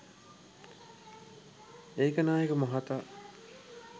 ඒකනායක මහතා